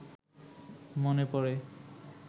মনে পড়ে